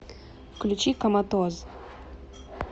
включи коматоз